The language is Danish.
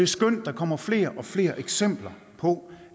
skønt at der kommer flere og flere eksempler på